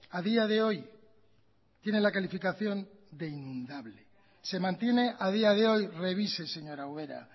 a día de hoy tiene la calificación de inundable se mantiene a día de hoy revise señora ubera